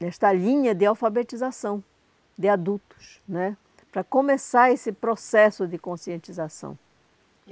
nesta linha de alfabetização de adultos né, para começar esse processo de conscientização.